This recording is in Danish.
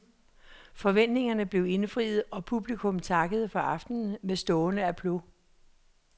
Forventningerne blev indfriet, og publikum takkede for aftenen med stående applaus.